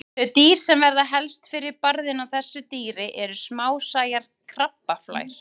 Þau dýr sem verða helst fyrir barðinu á þessu dýri eru smásæjar krabbaflær.